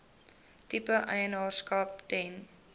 tipe eienaarskap ten